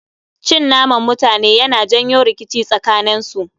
Cin naman mutane Yana janyo rikici tsakanen su